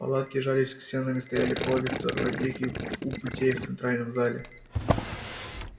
палатки жались к стенам и стояли по обе стороны от них и у путей и в центральном зале